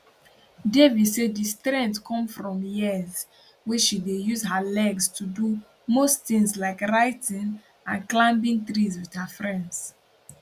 devi say di strength come from years wey she dey use her legs to do most tins like writing and climbing trees wit her friends